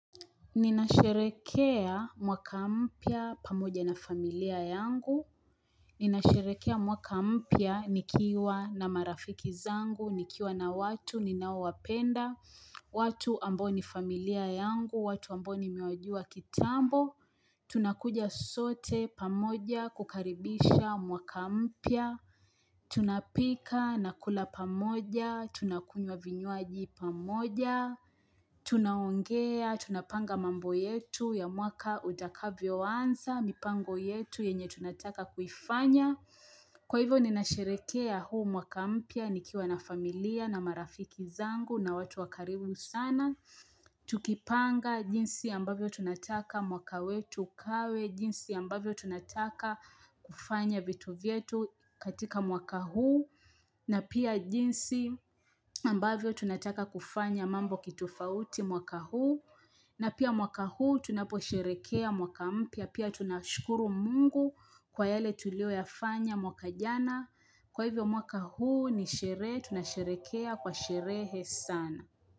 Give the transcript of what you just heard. Ninasherehekea mwaka mpya pamoja na familia yangu Ninasherehekea mwaka mpya nikiwa na marafiki zangu, nikiwa na watu, ninaowapenda watu ambao ni familia yangu, watu ambao nimewajua kitambo Tunakuja sote pamoja kukaribisha mwaka mpya Tunapika na kula pamoja, tunakunywa vinywaji pamoja Tunaongea, tunapanga mambo yetu ya mwaka utakavyoanza, mipango yetu yenye tunataka kuifanya Kwa hivyo ninasherehekea huu mwaka mpya nikiwa na familia na marafiki zangu na watu wa karibu sana Tukipanga jinsi ambavyo tunataka mwaka wetu ukawe jinsi ambavyo tunataka kufanya vitu vyetu katika mwaka huu na pia jinsi ambavyo tunataka kufanya mambo kitofauti mwaka huu na pia mwaka huu tunaposherehekea mwaka mpya pia tunashukuru mungu kwa yale tulioyafanya mwaka jana kwa hivyo mwaka huu ni sherehe tunasherekea kwa sherehe sana.